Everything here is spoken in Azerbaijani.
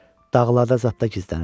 Dağlarda zaddada gizləniblər.